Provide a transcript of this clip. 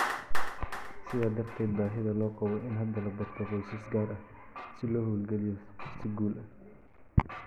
Sidaa darteed, baahida loo qabo in hadda la barto qoysas gaar ah si loo hawlgeliyo si guul leh.